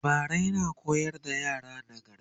labarai na koyar da yara nagarta